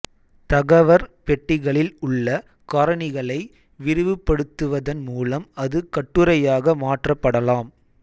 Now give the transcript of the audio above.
தகவற் பெட்டிகளில் உள்ள காரணிகளை விரிவுபடுத்துவதன் மூலம் அது கட்டுரையாக மாற்றப்படலாம்